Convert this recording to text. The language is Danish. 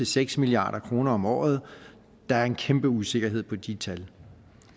seks milliard kroner om året der er en kæmpe usikkerhed på de tal